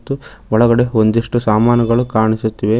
ಮತ್ತು ಒಳಗಡೆ ಒಂದಿಷ್ಟು ಸಾಮಾನುಗಳು ಕಾಣಿಸುತ್ತಿವೆ.